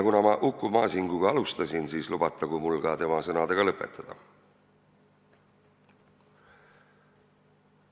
Kuna ma Uku Masinguga alustasin, siis lubatagu mul ka tema sõnadega lõpetada.